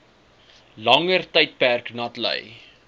langer tydperk natlei